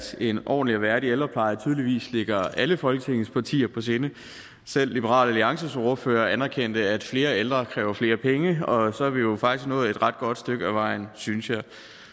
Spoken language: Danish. en ordentlig og værdig ældrepleje tydeligvis ligger alle folketingets partier på sinde selv liberal alliances ordfører anerkendte at flere ældre kræver flere penge og så er vi jo faktisk nået et ret godt stykke ad vejen synes jeg